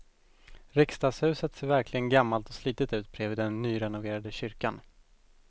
Riksdagshuset ser verkligen gammalt och slitet ut bredvid den nyrenoverade kyrkan.